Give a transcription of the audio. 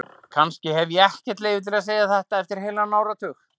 Kannski hef ég ekkert leyfi til að segja þetta eftir heilan áratug.